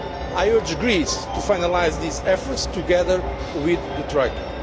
I urge Greece to finalise these efforts together with the Troika.